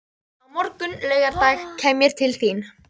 Á morgun, laugardag, kem ég til þín.